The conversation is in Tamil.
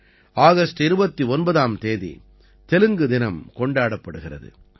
ஆகஸ்ட் 29ம் தேதி தெலுங்கு தினம் கொண்டாடப்படுகிறது